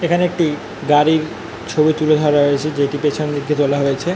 এখানে একটি গাড়ির ছবি তুলে ধরা হয়েছে যেটি পেছন দিক দিয়ে তোলা হয়েছে |